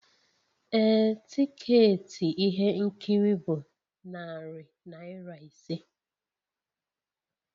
Ee, tiketi ihe nkiri bụ narị naira ise